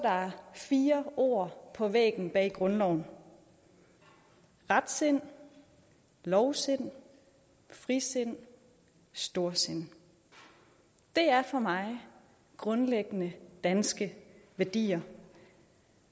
fire ord på væggen bag grundloven retsind lovsind frisind storsind det er for mig grundlæggende danske værdier